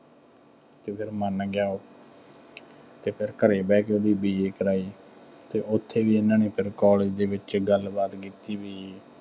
ਅਤੇ ਫੇਰ ਮੰਨ ਗਿਆ ਉਹ ਅਤੇ ਫੇਰ ਘਰੇ ਬਹਿ ਕੇ ਉਹਦੀ BA ਕਰਾਈ ਅਤੇ ਉੱਥੇ ਹੀ ਇਹਨਾ ਨੇ ਫੇਰ college ਦੇ ਵਿੱਚ ਗੱਲਬਾਤ ਕੀਤੀ ਬਈ